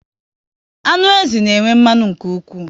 Anụ ezi na enwe mmanụ nke ụkwụ